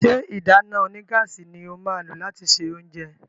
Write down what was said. ṣe ìdáná onígáàsì ní o má lo lati ṣe oúnjẹ?